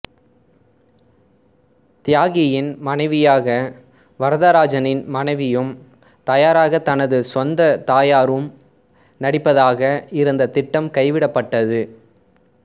தியாகியின் மனைவியாக வரதராஜனின் மனைவியும் தாயாராக தனது சொந்தத் தாயாரும் நடிப்பதாக இருந்த திட்டம் கைவிடப்பட்டது